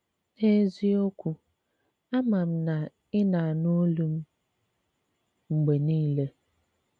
N’eziokwù, àmà m na ị na-ànụ̀ òlù m mgbe niile